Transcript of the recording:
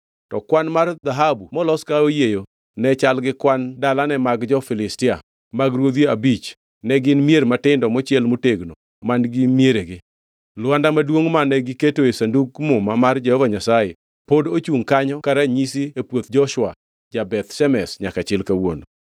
To kwan mar dhahabu molos ka oyieyo ne chal gi kwan dalane mag jo-Filistia mag Ruodhi abich, ne gin mier matindo mochiel motegno man-gi mieregi. Lwanda maduongʼ, mane giketoe Sandug Muma mar Jehova Nyasaye, pod ochungʼ kanyo ka ranyisi e puoth Joshua ja-Beth Shemesh nyaka chil kawuono.